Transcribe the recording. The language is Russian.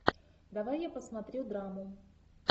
давай я посмотрю драму